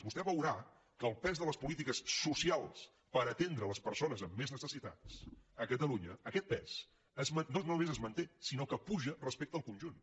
vostè veurà que el pes de les polítiques socials per atendre les persones amb més necessitats a catalunya aquest pes no només es manté sinó que puja respecte al conjunt